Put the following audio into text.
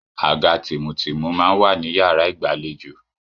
Àga tìmùtìmù máa ń wà ní yàrá ìgbàlejò.